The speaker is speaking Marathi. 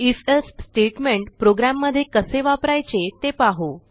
आयएफ एल्से स्टेटमेंट प्रोग्रॅममध्ये कसे वापरायचे ते पाहू